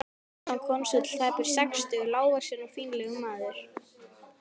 Einar konsúll var tæplega sextugur, lágvaxinn og fínlegur maður.